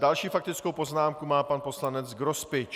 Další faktickou poznámku má pan poslanec Grospič.